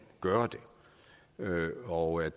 gøre det og